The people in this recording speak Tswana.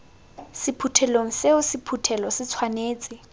sephuthelong seo sephuthelo se tshwanetse